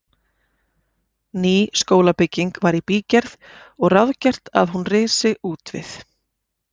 Ný skólabygging var í bígerð og ráðgert að hún risi útvið